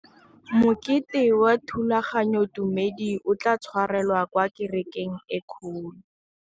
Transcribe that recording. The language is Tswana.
Mokete wa thulaganyôtumêdi o tla tshwarelwa kwa kerekeng e kgolo.